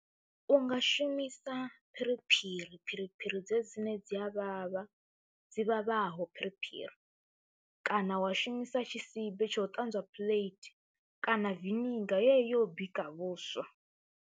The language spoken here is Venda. U nga shumisa phiriphiri, phiriphiri dzedzi dzine dzi a vhavha, dzi vhavhaho phiriphiri kana wa shumisa tshisibe tsha u ṱanzwa phuḽeithi kana venigar yo u bika vhuswa.